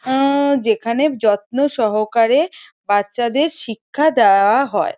আ-আহ যেখানে যত্ন সহাকারে বাচ্চাদের শিক্ষা দেওয়া হয়।